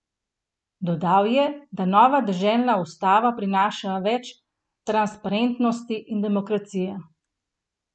Dodal je, da nova deželna ustava prinaša več transparentnosti in demokracije.